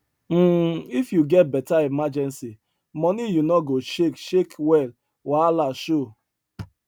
um if you get better emergency money you no go shake shake when wahala show